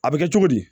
A bɛ kɛ cogo di